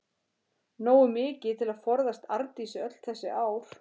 Nógu mikið til að forðast Arndísi öll þessi ár.